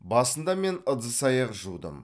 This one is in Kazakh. басында мен ыдыс аяқ жудым